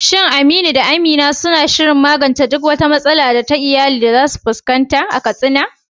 Shin Amira da Aminu suna shirin magance duk wata matsala ta iyali da za su iya fuskanta a Katsina?